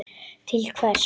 Til hvers?